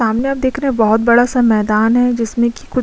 सामने आप देख रहे हैं बहोत बड़ा सा मैदान है जिसमें की कुछ --